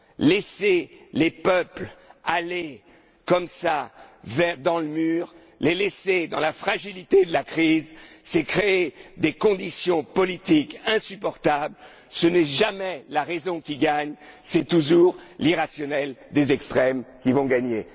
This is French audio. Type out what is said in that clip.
laisser les peuples aller comme ça dans le mur, les laisser dans la fragilité de la crise, c'est créer des conditions politiques insupportables, ce n'est jamais la raison qui gagne, c'est toujours l'irrationnel des extrêmes qui va gagner.